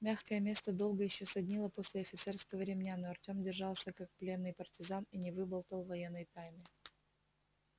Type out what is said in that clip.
мягкое место долго ещё саднило после офицерского ремня но артём держался как пленный партизан и не выболтал военной тайны